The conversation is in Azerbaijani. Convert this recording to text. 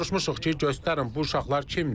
Soruşmuşuq ki, göstərin bu uşaqlar kimdir.